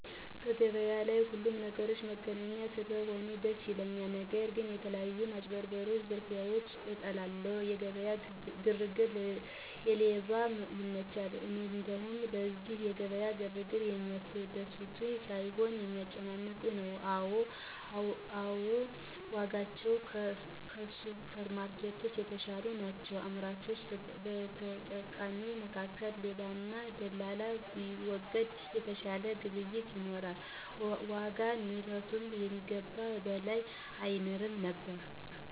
በገበያ ላይ የሁሉንም ነገሮች መገኛ ስለሆነ ደስ ያሰኛል። ነገር ግን የተለያዩ ማጭበርበሮች ዝርፊያዎችን እጠላለሁ። የገበያ ግርግር ለሌባ ይመቻል እንዲሉ፤ ስለዚህ የገበያ ግርግር የሚያስደስት ሳይሆን የሚያስጨንቅ ነው። አዎ ዋጋዎች ከሱፐርማርኬቶች የተሻሉ ናቸው። በአምራችና በተጠቃሚው መካከል ሌባና ደላላ ቢወገድ የተሻለ ግብይት ይኖራል፤ የዋጋ ንረቱም ከሚገባው በላይ አይንርም ነበር።